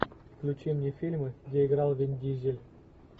включи мне фильмы где играл вин дизель